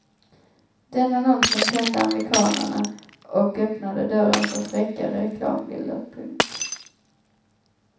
Den annonsen tände amerikanerna och öppnade dörren för fräckare reklambilder. punkt